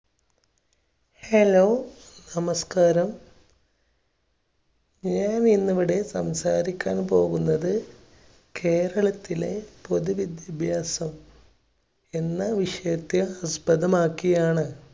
hello, നമസ്കാരം. ഞാൻ ഇന്നിവിടെ സംസാരിക്കാൻ പോകുന്നത് കേരളത്തിലെ പൊതുവിദ്യാഭ്യാസം എന്ന വിഷയത്തെ ആസ്പദമാക്കിയാണ്.